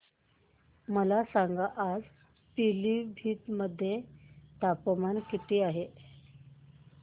मला सांगा आज पिलीभीत मध्ये तापमान किती आहे